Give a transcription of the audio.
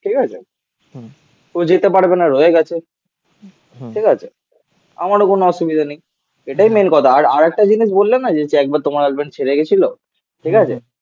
ঠিক আছে? ও যেতে পারবে না. রয়ে গেছে. ঠিক আছে. আমারও কোন অসুবিধা নেই. এটাই মেন কথা. আর আরেকটা জিনিস বললে না যে তুই একবার তোমার গার্লফ্রেন্ড ছেড়ে গেছিল. ঠিক আছে?